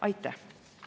Aitäh!